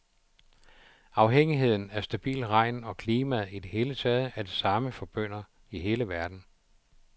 Afhængigheden af stabil regn og klimaet i det hele taget er det samme for bønder i hele verden.